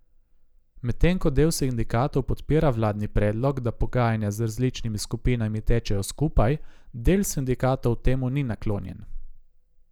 Medtem ko del sindikatov podpira vladni predlog, da pogajanja z različnimi skupinami tečejo skupaj, del sindikatov temu ni naklonjen.